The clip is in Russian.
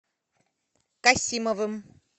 касимовым